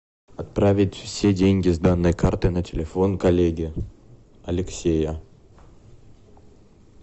отправить все деньги с данной карты на телефон коллеги алексея